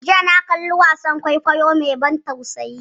Jiya na kalli wasan kwaikwayo mai ban tausayi.